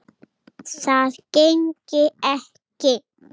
Það gengi ekki